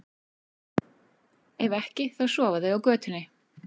Ef ekki, þá sofa þau á götunni.